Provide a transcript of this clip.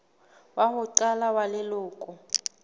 wa ho qala wa leloko